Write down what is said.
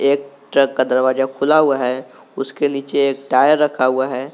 एक ट्रक का दरवाजा खुला हुआ है उसके नीचे एक टायर रखा हुआ है।